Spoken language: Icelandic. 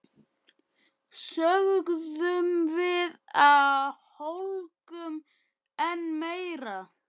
sögðum við og hlógum enn meira.